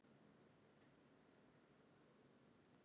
Eiga Stjörnumenn möguleika?